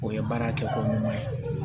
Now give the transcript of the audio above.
O ye baara kɛ ko ɲuman ye